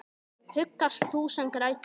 Huggast þú sem grætur.